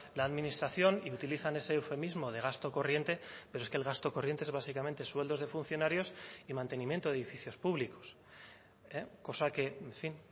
la administración y utilizan ese eufemismo de gasto corriente pero es que el gasto corriente es básicamente sueldos de funcionarios y mantenimiento de edificios públicos cosa que en fin